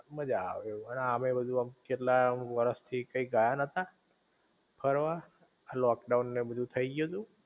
મજા આવે એવું, અને આમેય કેટલા વરસ થી કયાય ગયા નતા ફરવા આ લોકડાઉન ન ને બધુ થઈ ગયું તું